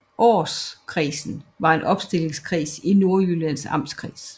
Aarskredsen var en opstillingskreds i Nordjyllands Amtskreds